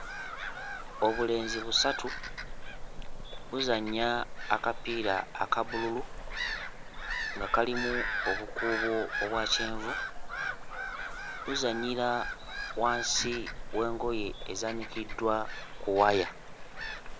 Obulenzi busatu buzannya akapiira aka bbululu nga kalimu obukuubo obwa kyenvu. Buzannyira wansi w'engoye ezaanikiddwa ku waya.